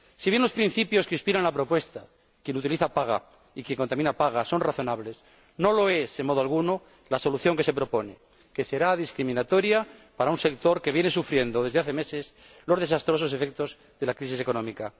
Si bien los principios que inspiran la propuesta quien utiliza paga y quien contamina paga son razonables, no lo es en modo alguno la solución que se propone, que será discriminatoria para un sector que viene sufriendo desde hace meses los desastrosos efectos de la crisis económica.